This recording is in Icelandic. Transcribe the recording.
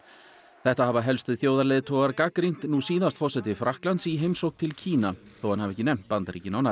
þetta hafa helstu þjóðarleiðtogar gagnrýnt nú síðast forseti Frakklands í heimsókn til Kína þó að hann hafi ekki nefnt Bandaríkin á nafn